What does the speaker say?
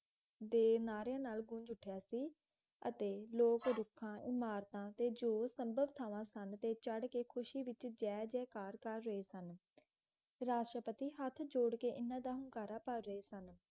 ਦੇ ਨਾਰਿਆਂ ਨਾਲ ਗੂੰਜ ਉੱਠਿਆ ਸੀ ਅਤੇ ਲੋਗ ਰੁੱਖਾਂ ਇਮਾਰਤਾਂ ਤੇ ਜੋ ਸੰਭਵ ਥਾਂਵਾਂ ਸਨ ਤੇ ਚੜ੍ਹ ਕੇ ਖੁਸ਼ੀ ਵਿੱਚ ਜੈ ਜੈਕਾਰ ਕਰ ਰਹੇ ਸਨ ਰਾਸ਼ਟਰਪਤੀ ਹੱਥ ਜੋੜ ਕੇ ਇੰਨ੍ਹਾਂ ਦਾ ਹੁੰਗਾਰਾ ਭਰ ਰਹੇ ਸਨ